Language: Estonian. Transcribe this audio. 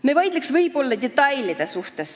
Me vaidleksime võib-olla detailide üle.